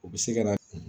U bɛ se ka na